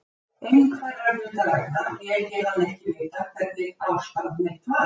Einhverra hluta vegna lét ég hann ekki vita hvernig ástand mitt var.